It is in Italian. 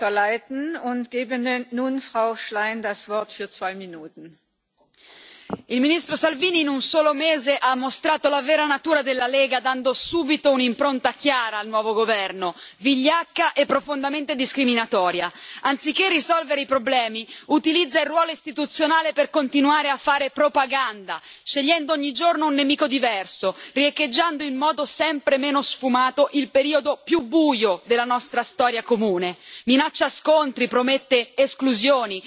Signor Presidente, onorevoli colleghi, il ministro Salvini in un solo mese ha mostrato la vera natura della Lega, dando subito un'impronta chiara al nuovo governo vigliacca e profondamente discriminatoria. Anziché risolvere i problemi, utilizza il ruolo istituzionale per continuare a fare propaganda, scegliendo ogni giorno un nemico diverso, riecheggiando in modo sempre meno sfumato il periodo più buio della nostra storia comune minaccia scontri, promette esclusioni,